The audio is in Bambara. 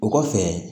O kɔfɛ